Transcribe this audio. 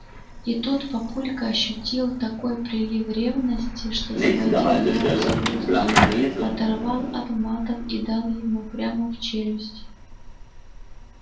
и тут папулька ощутил такой прилив ревности что схватил леву за грудки оторвал от матов и дал ему прямо в челюсть